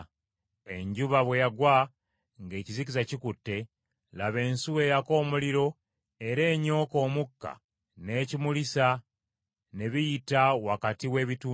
Enjuba bwe yagwa ng’ekizikiza kikutte, laba, ensuwa eyaka omuliro era enyooka omukka n’ekimulisa ne biyita wakati w’ebitundu bino.